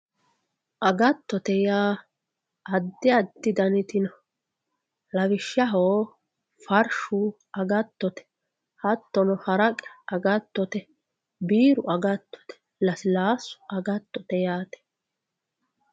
Agatote yaa adi adi daniti no lawishshaho farshu agatote hattono haraqe agatote biiru agatote lasilasu agatote yaate.